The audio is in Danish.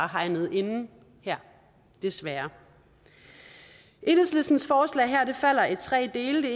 hegnet ind her desværre enhedslistens forslag falder i tre dele